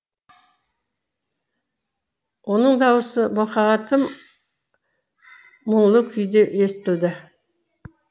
оның дауысы мұқаға тым мұңлы күйде естілді